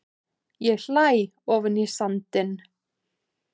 Ég hlæ ofan í sandinn.